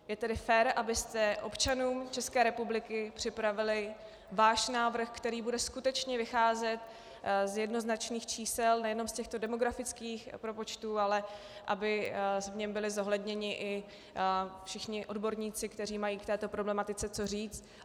Je tedy fér, abyste občanům České republiky připravili svůj návrh, který bude skutečně vycházet z jednoznačných čísel, nejenom z těchto demografických propočtů, ale aby v něm byli zohledněni i všichni odborníci, kteří mají k této problematice co říct.